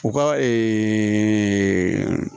U ka